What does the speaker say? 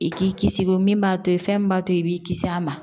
I k'i kisi o min b'a to fɛn min b'a to i b'i kisi a ma